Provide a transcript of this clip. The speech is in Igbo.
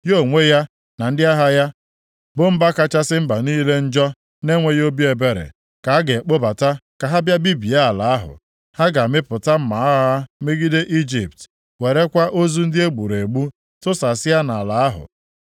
Ya onwe ya na ndị agha ya, bụ mba kachasị mba niile njọ na-enweghị obi ebere, ka a ga-akpọbata ka ha bịa bibie ala ahụ. Ha ga-amịpụta mma agha ha megide Ijipt, werekwa ozu ndị e gburu egbu tụsasịa nʼala ahụ.